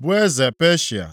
bụ eze Peshịa.